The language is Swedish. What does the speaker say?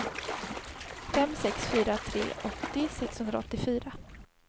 fem sex fyra tre åttio sexhundraåttiofyra